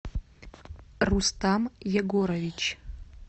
рустам егорович